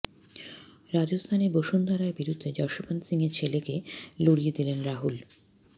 রাজস্থানে বসুন্ধরার বিরুদ্ধে যশোবন্ত সিংহের ছেলেকে লড়িয়ে দিলেন রাহুল